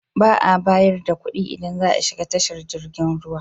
Ba a bayar da kuɗi idan za a shiga tashar jirgin ruwa.